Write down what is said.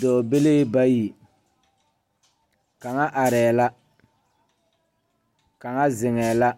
Dɔɔbilee bayi kaŋa arɛɛ la kaŋa ziŋɛɛ la